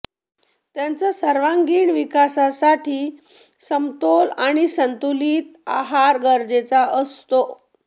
त्यांचा सर्वांगीण विकासासाठी समतोल आणि संतुलित आहार गरजेचा असतो